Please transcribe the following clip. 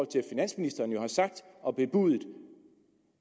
til at finansministeren jo har sagt og bebudet